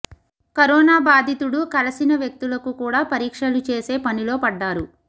corona బాధితుడు కలిసిన వ్యక్తులకు కూడా పరీక్షలు చేసే పనిలో పడ్డారు